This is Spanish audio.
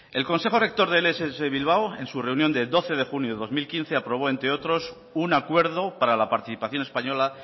el consejo rector de ess bilbao en su reunión de doce de junio de dos mil quince aprobó entre otros un acuerdo para la participación española